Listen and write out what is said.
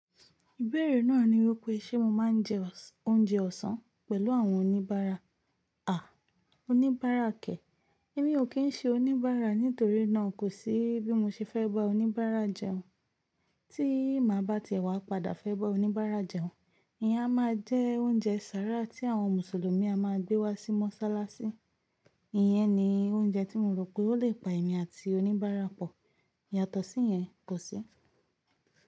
Ìbéèrè náà ni wípé ṣe mo máa ń jẹ oúnjẹ ọ̀sán pẹ̀lú àwọn oníbárà. À, oníbárà kẹ̀. Èmi ò kí ń ṣe oníbárà nítorí náà kò sí bí mo ṣe fẹ́ bá oníbárà jẹun. Tí mà bá tiẹ̀ wá padà fẹ́ bá oníbárà jẹun, ìyá máa jẹ oúnjẹ sára tí àwọn Mùsùlùmí a máa gbé wá sí mọ́ṣáláṣí. Ìyẹn ni oúnjẹ tí mo rò pé ó lè pa èmi àti oníbárà pọ̀. Yàtọ̀ sí yẹn, kò sí.